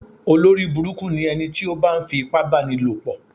Olórí burúkú ni ẹniti o ba ń fi ipá bá ní lò pọ̀.